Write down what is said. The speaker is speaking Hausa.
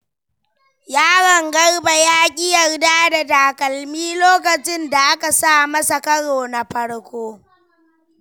Yaron Garba ya ƙi yarda da takalmi lokacin da aka sa masa karo na farko.